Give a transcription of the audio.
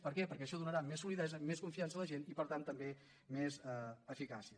per què perquè això donarà més solidesa més confiança a la gent i per tant també més eficàcia